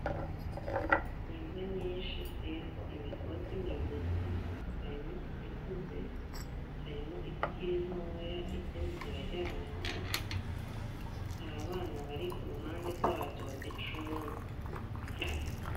N'imbwa nyinshi ziriko imigozi mwijosi harimwo izikuze harimwo izikiri ntoya izindi ziraryamye hasi hari abana bari kuruhande rwazo bazicunze .